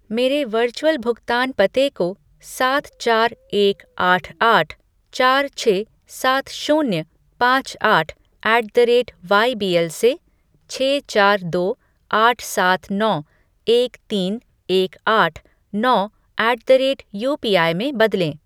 मेरे वर्चुअल भुगतान पते को सात चार एक आठ आठ चार छः सात शून्य पाँच आठ ऐट द रेट वाईबीएल से छः चार दो आठ सात नौ एक तीन एक आठ नौ ऐट द रेट यूपीआई में बदलें